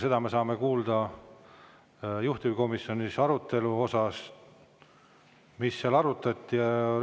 Seda me saame kuulda juhtivkomisjoni, mida seal arutati.